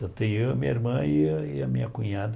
Então tem eu, a minha irmã e a e a minha cunhada.